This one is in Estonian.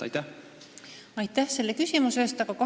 Aitäh selle küsimuse eest!